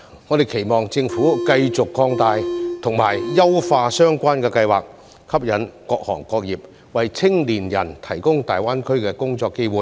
我們期望政府繼續擴大和優化相關計劃，吸引各行各業為青年人提供大灣區的工作機會。